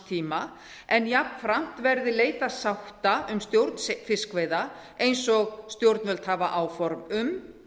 tíma en jafnframt verði leitað sátta um stjórn fiskveiða eins og stjórnvöld hafa áform um